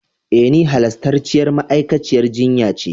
E, ni halastarciyar ma'aikaciyar jinya ce.